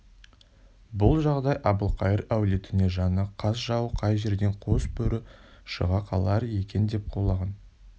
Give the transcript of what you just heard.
бұл жағдай әбілқайыр әулетіне жаны қас жауы қай жерден қос бөрі шыға қалар екен деп құлағын